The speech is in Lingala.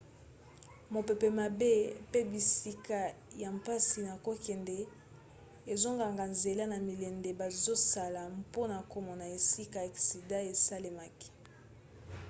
mopepe mabe pe bisika ya mpasi na kokende ezokanga nzela na milende bazosala mpona komona esika aksida esalemaki